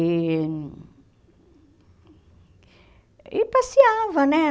E... E passeava, né?